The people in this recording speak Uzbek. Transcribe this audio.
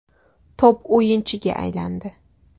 Top o‘yinchiga aylandi.